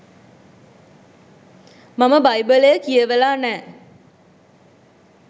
මම බයිබලය කියවලා නෑ.